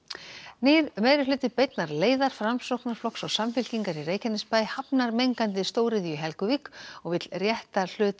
nýr meirihluti beinnar leiðar Framsóknarflokks og Samfylkingar í Reykjanesbæ hafnar mengandi stóriðju í Helguvík og vill rétta hlut